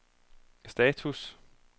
status